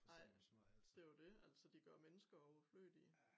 Nej det jo dét altså de gør mennesker overflødige